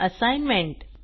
assignment